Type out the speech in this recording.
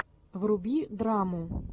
вруби драму